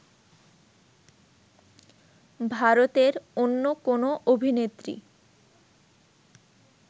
ভারতের অন্য কোনো অভিনেত্রী